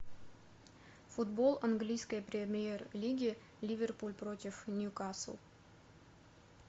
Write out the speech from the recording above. футбол английской премьер лиги ливерпуль против ньюкасл